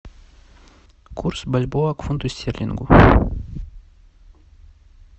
курс бальбоа к фунту стерлингу